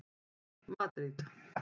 Madríd